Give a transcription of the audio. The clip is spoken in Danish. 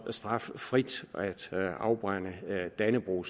straffrit at afbrænde dannebrog